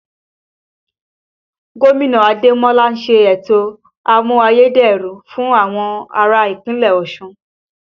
Gómìnà Ademola ń ṣe ètò àmù-ayé-dẹrùn fún àwọn ará Ìpínlẹ̀ Ọ̀ṣun